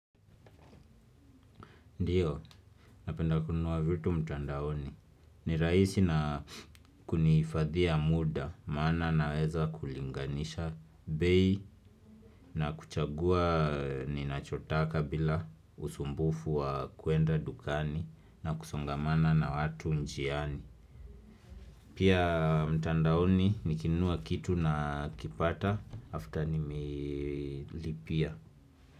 Ndio, napenda kununua vitu mtandaoni. Ni rahisi na kuhifadhia muda, maana na weza kulinganisha bei na kuchagua ninachotaka bila usumbufu wa kuenda dukani na kusongamana na watu njiani. Pia mtandaoni nikinunua kitu na kipata after nimelipia.